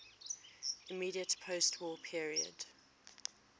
immediate postwar period